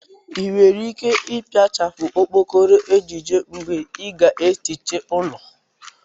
i nwere ike ipiachá okpokoro ejiji mgbe i ga-ehicha ụlọ?